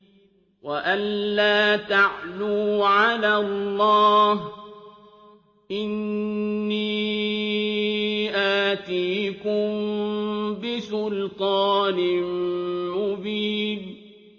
وَأَن لَّا تَعْلُوا عَلَى اللَّهِ ۖ إِنِّي آتِيكُم بِسُلْطَانٍ مُّبِينٍ